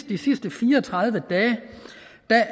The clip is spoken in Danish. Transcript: de sidste fire og tredive dage